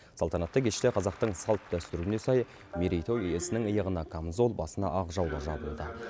салтанатты кеште қазақтың салт дәстүріне сай мерейтой иесінің иығына қамзол басына ақ жаулық жабылды